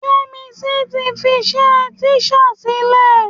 Yẹ́misí ti fiṣẹ́ tíṣà sílẹ̀.